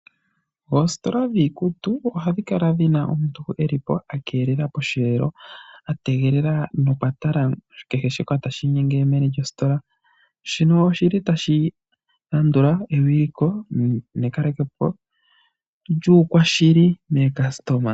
Oositola dhiikutu ohadhi kala dhina omuntu akeelela posheelo , ategelela nokwatala kehe shoka tashi inyenge meni lyositola. Shino oshili tashi landula ewiliko nekalekopo lyuukwashili maalandithwa.